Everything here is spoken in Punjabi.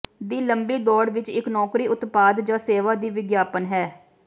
ਦੀ ਲੰਬੀ ਦੌੜ ਵਿਚ ਇੱਕ ਨੌਕਰੀ ਉਤਪਾਦ ਜ ਸੇਵਾ ਦੀ ਵਿਗਿਆਪਨ ਹੈ